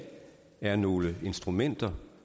er nogle instrumenter